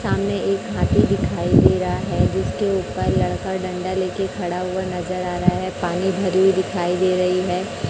सामने एक हाथी दिखाई दे रहा है जिसके ऊपर लड़का डंडा ले के खड़ा हुआ नजर आ रहा है पानी भरी हुई दिखाई दे रही है।